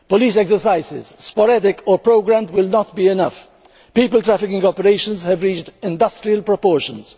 migrants. Police exercises, sporadic or programmed, will not be enough. People trafficking operations have reached industrial proportions.